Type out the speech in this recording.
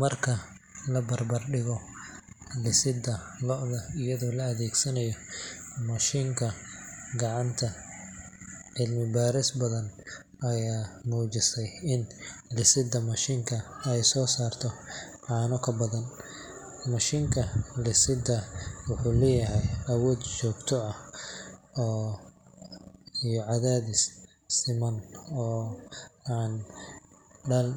Marka la barbar dhigo lisidda lo’da iyadoo la adeegsanayo mashiin iyo gacanta, cilmi-baaris badan ayaa muujisay in lisidda mashiinka ay soo saarto caano ka badan. Mashiinka lisidda wuxuu leeyahay awood joogto ah iyo cadaadis siman oo aan daal